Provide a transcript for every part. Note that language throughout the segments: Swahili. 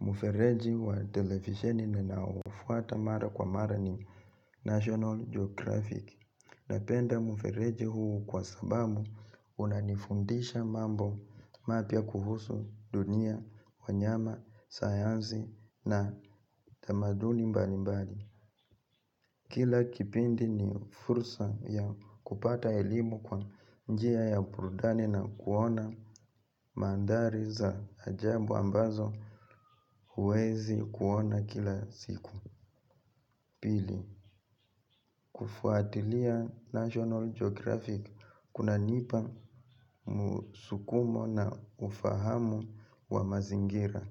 Mfereji wa televisheni ninaofuata mara kwa mara ni National Geographic. Napenda mfereji huu kwa sababu unanifundisha mambo mpya kuhusu dunia, wanyama, sayansi na tamaduni mbalimbali. Kila kipindi ni fursa ya kupata elimu kwa njia ya burudani na kuona mandhari za ajabu ambazo huwezi kuona kila siku pili. Kufuatilia National Geographic kuna nipa musukumo na ufahamu wa mazingira.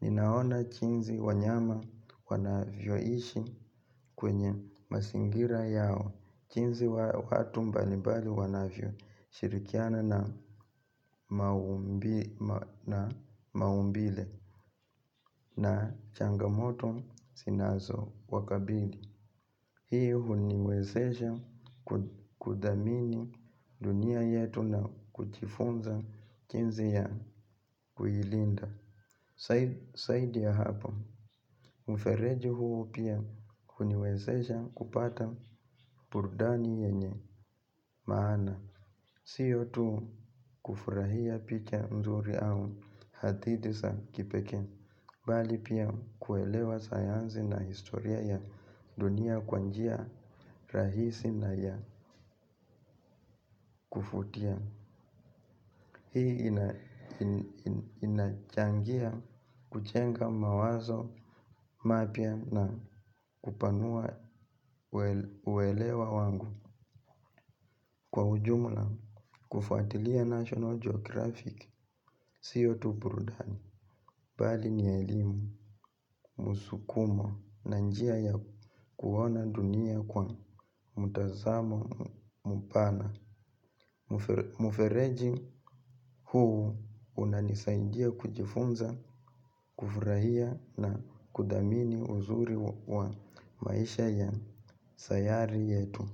Ninaona jinsi wanyama wanavyoishi kwenye mazingira yao jinsi watu mbalibali wanavyo shirikiana na maumbile na changamoto zinazo wakabili. Hii huniwezesha kudhamini dunia yetu na kujifunza jinsi ya kuilinda zaidi ya hapo, mfereji huu pia huniwezesha kupata burdani yenye maana. Siyo tu kufurahia picha nzuri au hadithi za kipeke bali pia kuelewa sayansi na historia ya dunia kwa njia rahisi na ya kuvutia. Hii inachangia kujenga mawazo mapya na kupanua uwelewa wangu. Kwa ujumla kufuatilia national geographic siyo tu burudani bali ni elimu, musukumo, na njia ya kuona dunia kwa mtazamo mpana. Mfereji huu unanisaidia kujifunza, kufurahia na kudhamini uzuri wa maisha ya sayari yetu.